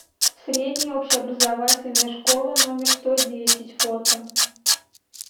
средняя общеобразовательная школа номер сто десять фото